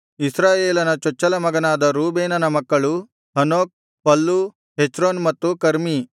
ಇಸ್ರಾಯೇಲನ ಚೊಚ್ಚಲ ಮಗನಾದ ರೂಬೇನನ ಮಕ್ಕಳು ಹನೋಕ್ ಫಲ್ಲೂ ಹೆಚ್ರೋನ್ ಮತ್ತು ಕರ್ಮೀ